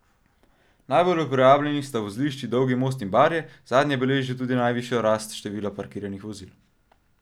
Najbolj uporabljeni sta vozlišči Dolgi most in Barje, zadnje beleži tudi najvišjo rast števila parkiranih vozil.